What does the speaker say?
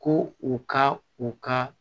Ko u ka u ka